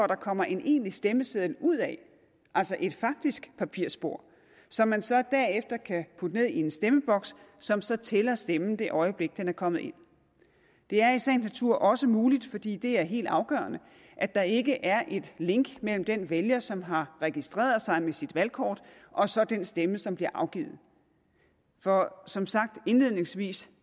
der kommer en egentlig stemmeseddel ud af altså et faktisk papirspor som man så derefter kan putte ned i en stemmeboks som så tæller stemmen det øjeblik den er kommet i det er i sagens natur også muligt fordi det er helt afgørende at der ikke er et link mellem den vælger som har registreret sig med sit valgkort og så den stemme som bliver afgivet for som sagt indledningsvis